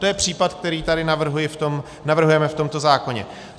To je případ, který tady navrhujeme v tomto zákoně.